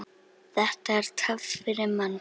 Þetta er töff fyrir mann.